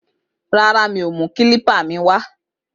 Rárá, mi o mú èro kílípà mi wá